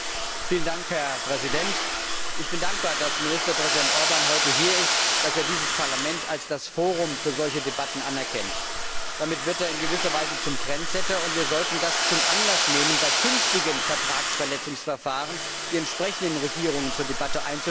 Herr Präsident! Ich bin dankbar, dass Ministerpräsident Orbán heute hier ist, dass er dieses Parlament als das Forum für solche Debatten anerkennt. Damit wird er in gewisser Weise zum Trendsetter, und wir sollten das zum Anlass nehmen, bei künftigen Vertragsverletzungsverfahren die entsprechenden Regierungen zur Debatte einzuladen.